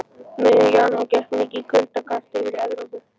Um miðjan janúar gekk mikið kuldakast yfir Evrópu.